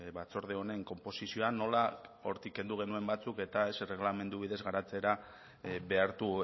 batzorde honen konposizioa nola hortik kendu genuen batzuk eta ez erregelamendu bidez garatzera behartu